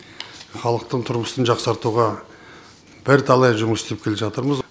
халықтың тұрмысын жақсартуға бірталай жұмыс істеп келе жатырмыз